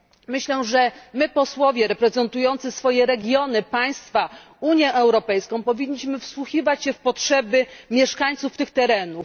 Myślę, że my, posłowie reprezentujący swoje regiony, państwa, Unię Europejską, powinniśmy wsłuchiwać się w potrzeby mieszkańców tych terenów.